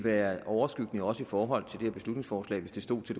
være overskyggende også i forhold til det her beslutningsforslag hvis det stod til